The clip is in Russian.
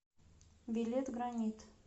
билет гранит